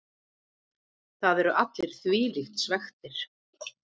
Það eru allir þvílíkt svekktir.